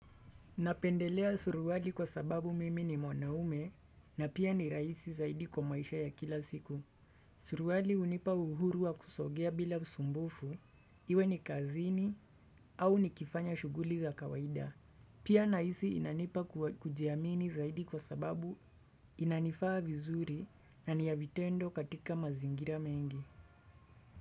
Napendelea suruali kwa sababu mimi ni mwanaume na pia ni raisi zaidi kwa maisha ya kila siku. Suruali hunipa uhuru wa kusogea bila usumbufu iwe ni kazini au ni kifanya shughuli za kawaida. Pia nahisi inanipa kujiamini zaidi kwa sababu inanifaa vizuri na niyavitendo katika mazingira mengi.